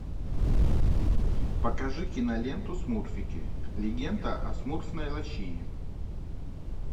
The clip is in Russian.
покажи киноленту смурфики легенда о смурфной лощине